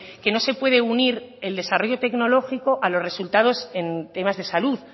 que no se puede unir el desarrollo tecnológico a los resultados en temas de salud